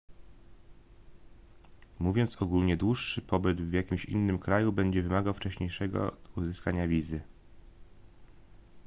mówiąc ogólnie dłuższy pobyt w jakimś innym kraju będzie wymagał wcześniejszego uzyskania wizy